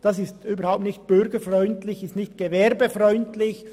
Das ist überhaupt nicht bürger- und gewerbefreundlich.